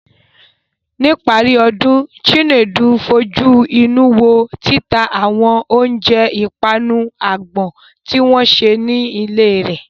Ní ìparí ọdún, Chinedu fojú inú wo títa àwọn oúnjẹ ìpanu àgbọn tí wọ́n ṣe nílé rẹ̀.